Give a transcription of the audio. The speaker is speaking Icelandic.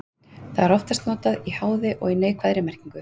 Það er oftast notað í háði og í neikvæðri merkingu.